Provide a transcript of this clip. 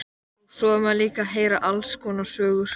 Og svo er maður líka að heyra alls konar sögur.